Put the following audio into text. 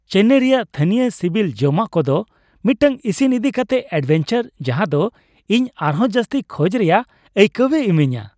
ᱪᱮᱱᱱᱟᱭ ᱨᱮᱭᱟᱜ ᱛᱷᱟᱹᱱᱤᱭᱚ ᱥᱤᱵᱤᱞ ᱡᱚᱢᱟᱜ ᱠᱚᱫᱚ ᱢᱤᱫᱴᱟᱝ ᱤᱥᱤᱱ ᱤᱫᱤᱠᱟᱛᱮ ᱮᱹᱰᱵᱷᱮᱧᱪᱟᱨ ᱡᱟᱦᱟᱸᱫᱚ ᱤᱧ ᱟᱨᱦᱚᱸ ᱡᱟᱹᱥᱛᱤ ᱠᱷᱚᱡ ᱨᱮᱭᱟᱜ ᱟᱹᱭᱠᱟᱹᱣᱮ ᱤᱢᱟᱹᱧᱟ ᱾